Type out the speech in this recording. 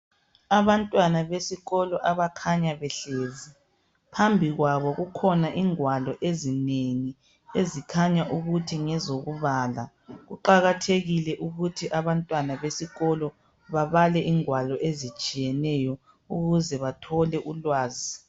Abantwana besikolo abakhanya behlezi. Phambi kwabo kukhona ingwalo ezinengi ezikhanya ukuthi ngezokubala. Kuqakathekile ukuthi abantwana besikolo babale ingwalo ezitshiyeneyo ukuze bathole ulwazi.